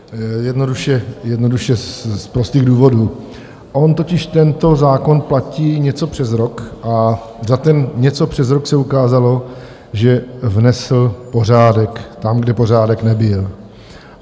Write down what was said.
Jednoduše z prostých důvodů, on totiž tento zákon platí něco přes rok a za ten něco přes rok se ukázalo, že vnesl pořádek tam, kde pořádek nebyl.